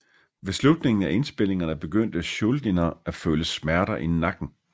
Ved slutningen af indspilningerne begyndte Schuldiner at føle smerter i nakken